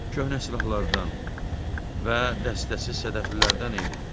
Köhnə silahlardan və dəstəsi sədəflilərdən idi.